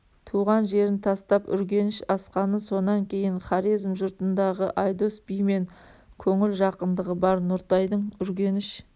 туған жерін тастап үргеніш асқаны сонан кейін хорезм жұртындағы айдос бимен көңіл жақындығы бар нұртайдың үргеніш